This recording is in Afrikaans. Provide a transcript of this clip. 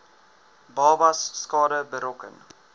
babas skade berokken